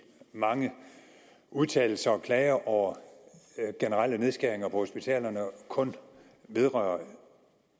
mange udtalelser om og klager over generelle nedskæringer på hospitalerne kun vedrører